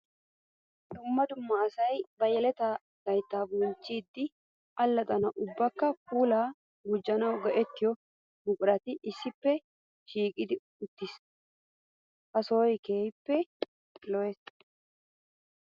Dumma dumma asay ba yeletta laytta bonchchidde alaxxanawu ubbakka puula gujannawu go'ettiyo buquratti issippe shiiqi uttiis. Ha sohoy keehippe lo'ees.